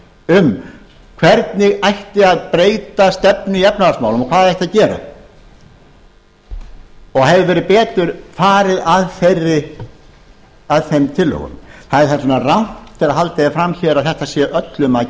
um hvernig ætti að breyta stefnu í efnahagsmálum og hvað ætti að gera og hefði verið betur farið að þeim tillögum það er þess vegna rangt þegar haldið er fram hér að þetta sé öllum að